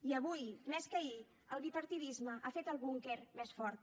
i avui més que ahir el bipartidisme ha fet el búnquer més fort